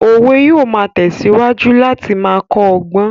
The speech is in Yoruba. Òwe yóò máa tẹ̀síwájú láti máa kọ́ ọgbọ́n